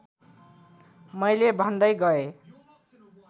मैले भन्दै गएँ